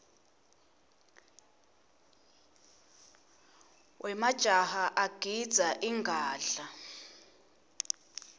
wemajaha agidza ingadla